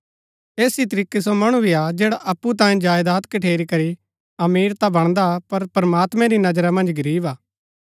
ऐस ही तरीकै सो मणु भी हा जैडा अप्पु तांयें जायदात कठेरी करी अमीर ता बणदा पर प्रमात्मैं री नजरा मन्ज गरीब हा